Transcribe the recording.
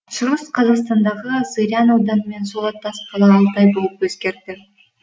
шығыс қазақстандағы зырян ауданы мен сол аттас қала алтай болып өзгерді